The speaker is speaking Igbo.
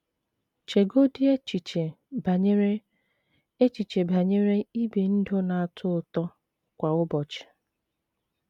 Chegodị echiche banyere echiche banyere ibi ndụ ‘ na - atọ ụtọ ’ kwa ụbọchị!